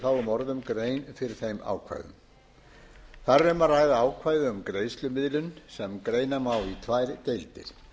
fáummorðum grein fyrir þeim ákvæðum það er um að ræða ákvæði um greiðslumiðlun sem greina má í tvær deildir